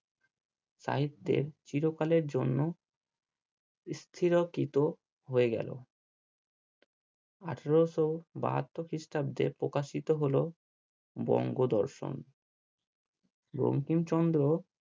সাহিত্যের চিরকালের জন্য স্থিরকৃত হয়ে গেলো আঠেরোশো বাহাত্ত খ্রিস্টাব্দে প্রকাশিত হলো বঙ্গ দর্শন বঙ্কিমচন্দ্র